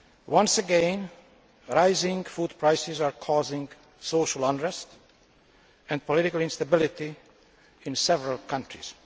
Once again, rising food prices are causing social unrest and political instability in several countries.